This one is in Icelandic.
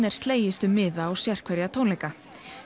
er slegist um miða á sérhverja tónleika